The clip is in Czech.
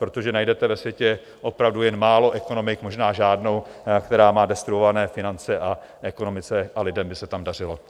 Protože najdete ve světě opravdu jen málo ekonomik, možná žádnou, která má destruované finance a ekonomice a lidem by se tam dařilo.